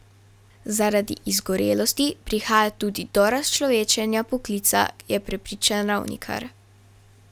Zaradi izgorelosti prihaja tudi do razčlovečenja poklica, je prepričan Ravnikar.